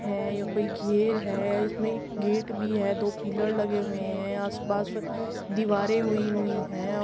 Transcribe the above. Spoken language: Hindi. है यह कोई घेर है। इसमें एक गेट भी है। दो पिलर लगे हुए हैं। आस-पास दीवारें हुई हुई हैं। अ --